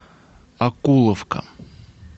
окуловка